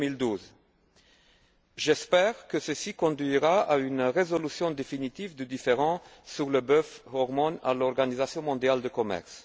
2012. J'espère que ceci conduira à une résolution définitive du différend sur le bœuf aux hormones à l'Organisation mondiale du commerce.